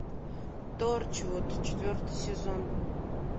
торчвуд четвертый сезон